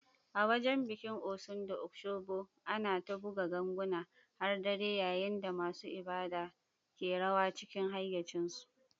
A wajen bikin Osun da Osogbo, ana ta buga ganguna har dare, yayin da masu ibada ke rawa cikin hayyacinsu.